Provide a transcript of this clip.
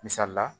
Misali la